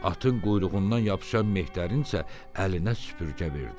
Atın quyruğundan yapışan mehdərin isə əlinə süpürgə verdi.